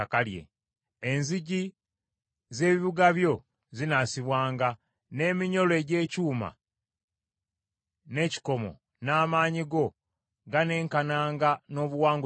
Enzigi z’ebibuga byo zinaasibwanga n’eminyolo egy’ekyuma n’ekikomo n’amaanyi go ganenkananga n’obuwangaazi bwo.